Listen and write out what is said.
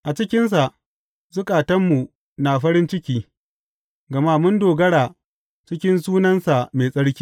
A cikinsa zukatanmu na farin ciki, gama mun dogara cikin sunansa mai tsarki.